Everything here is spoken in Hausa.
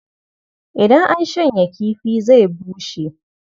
Idan an shanya kifi zai bushe.